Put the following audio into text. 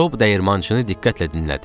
Job dəyirmançını diqqətlə dinlədi.